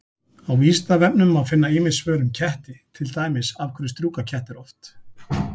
Á Vísindavefnum má finna ýmis svör um ketti, til dæmis: Af hverju strjúka kettir oft?